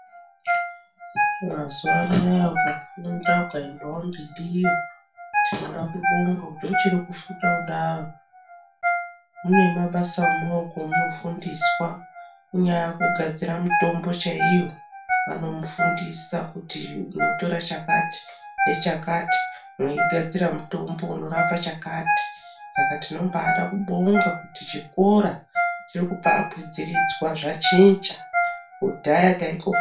Mazuwa anaaya ukafunda ukaendawo mberiyo, tinodakubonga kuti uchiri kufunda kudaro mune mabasa emaoko emunofundiswa kunyaa kugadzira mitombo chaiyo vanomufundisa kuti utora chakati nechakati mweigadzira mutombo unorapa chakati saka tinobaada kubonga kuti chikora chirikuba akwidziridzwa zvachinja kudhaya taingo.......